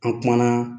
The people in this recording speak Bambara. An kumana